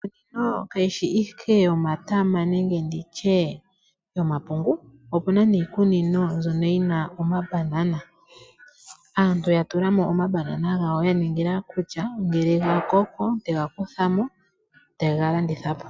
Iikunino kayishi ashike yomatama nenge nditye yomapungu, opuna niikunino mbyono yi na omambanana. Aantu yatulamo omambanana gawo yaningila kutya, ngele gakoko, tega kuthamo, tega landithapo.